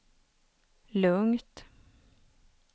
lugnt